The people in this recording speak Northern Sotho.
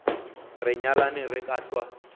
re nyalane re ka hlwa